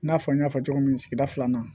I n'a fɔ n y'a fɔ cogo min na sigida filanan